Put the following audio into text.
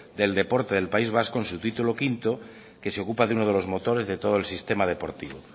del deporte del país vasco en su título quinto que se ocupa de uno de los motores de todo el sistema deportivo